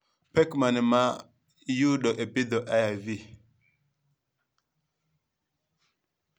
pek mane ma iyudo e pidho AIV